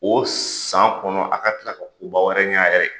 O san kɔnɔ a ka tila ka koba wɛrɛ ɲa a yɛrɛ ye.